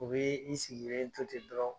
U bee i sigilen to te dɔrɔn